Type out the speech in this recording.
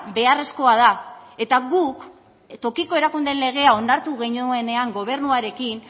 beharrezkoa da eta guk tokiko erakundeen legea onartu genuenean gobernuarekin